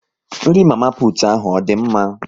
Nri mama putu ahu ọ dị mma?